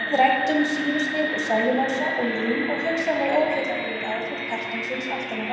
Við ræddum sýrustig og sellulósa og lím og hugsanleg óheillavænleg áhrif kartonsins aftan á rammanum.